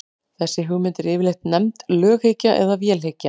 þessi hugmynd er yfirleitt nefnd löghyggja eða vélhyggja